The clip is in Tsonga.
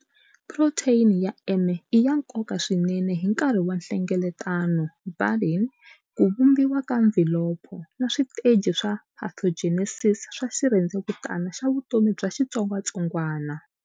Proteyini ya M i ya nkoka swinene hi nkarhi wa nhlengeletano, budding, ku vumbiwa ka mvhilopho, na switeji swa pathogenesis swa xirhendzevutani xa vutomi bya xitsongwatsongwana.